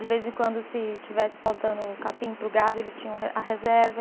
De vez em quando, se estivesse faltando capim para o gado, ele tinha o a reserva.